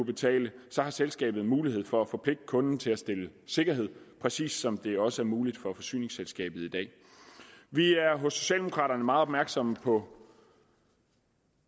betale så har selskabet mulighed for at forpligte kunden til at stille sikkerhed præcis som det også er muligt for forsyningsselskabet i dag vi er hos socialdemokraterne meget opmærksomme på